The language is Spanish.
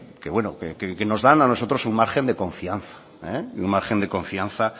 que bueno que nos dan a nosotros un margen de confianza un margen de confianza